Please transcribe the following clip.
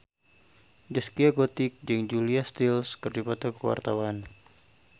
Zaskia Gotik jeung Julia Stiles keur dipoto ku wartawan